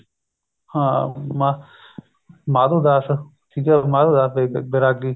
ਹਾਂ ਮਾ ਮਾਧੋ ਦਾਸ ਠੀਕ ਏ ਮਾਧੋ ਦਾਸ ਬੇਰਾਗੀ